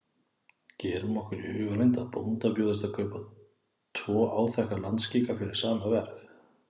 Gerum okkur í hugarlund að bónda bjóðist að kaupa tvo áþekka landskika fyrir sama verð.